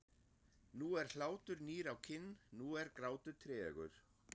Nú er hlátur nýr á kinn, nú er grátur tregur.